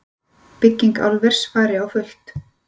Bygging álvers fari á fullt